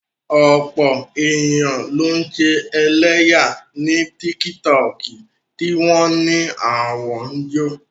Ọ̀pọ̀ èèyàn ló ń ṣe ẹlẹ́yà ní tíkítọọ̀kì tí wọ́n á ní àwọn ń jó